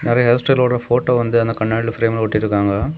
நறைய ஹேர்ஸ் டைலரோட போட்டோ வந்து அந்த கண்ணாடில பிரேம்ல ஒட்டிருக்காங்க.